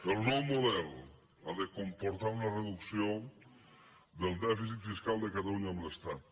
el nou model ha de comportar una reducció del dèficit fiscal de catalunya amb l’estat